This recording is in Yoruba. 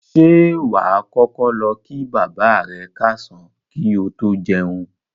Ṣé wà á kọ́kọ́ lọ kí bàbá rẹ káàsán kí o tó jẹun?